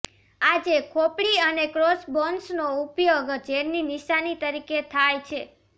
આજે ખોપડી અને ક્રોસબોન્સનો ઉપયોગ ઝેરની નિશાની તરીકે થાય છે